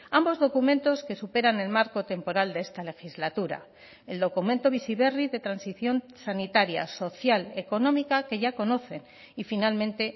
ambos documentos que superan el marco temporal de esta legislatura el documento bizi berri de transición sanitaria social económica que ya conocen y finalmente